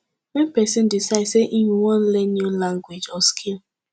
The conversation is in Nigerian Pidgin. when person decide sey im wan learn new language or skill